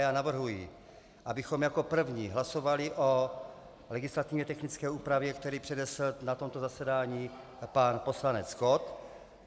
Já navrhuji, abychom jako první hlasovali o legislativně technické úpravě, kterou přednesl na tomto zasedání pan poslanec Kott.